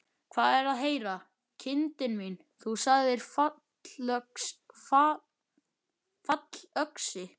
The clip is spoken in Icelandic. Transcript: Hvað er að heyra, kindin mín, þú sagðir fallöxi.